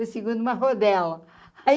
O segundo uma rodela. aí